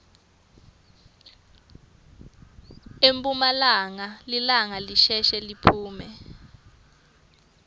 emphumalanga lilanga lisheshe liphume